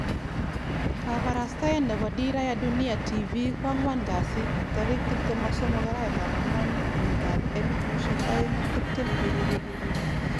Kabarastaet nebo Dira ya Dunia Tv koan'gwan kasi 23/4/2020